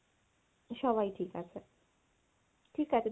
সবাই ঠিক আছে। ঠিক আছে